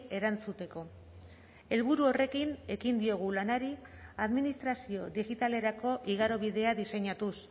erantzuteko helburu horrekin ekin diogu lanari administrazio digitalerako igarobidea diseinatuz